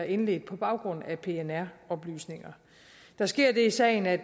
indledt på baggrund af pnr oplysninger der sker det i sagen at